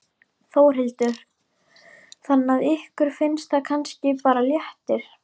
Þórhildur: Þannig að ykkur finnst það kannski bara léttir?